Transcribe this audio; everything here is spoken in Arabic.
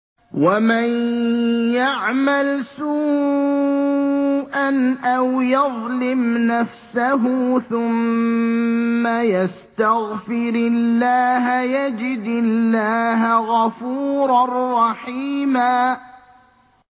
وَمَن يَعْمَلْ سُوءًا أَوْ يَظْلِمْ نَفْسَهُ ثُمَّ يَسْتَغْفِرِ اللَّهَ يَجِدِ اللَّهَ غَفُورًا رَّحِيمًا